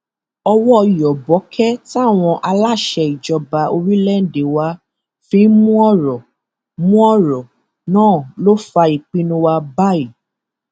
owó yọbọkẹ táwọn aláṣẹ ìjọba orílẹèdè wa fi ń mú ọrọ mú ọrọ náà ló fa ìpinnu wa báyìí